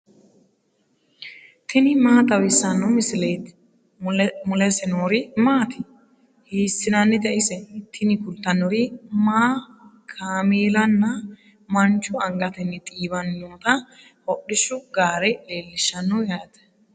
tini maa xawissanno misileeti ? mulese noori maati ? hiissinannite ise ? tini kultannori manna, kaameellanna maanchu angatenni xiiwanni nootta hodhishshu gaare leellishshanno yaate.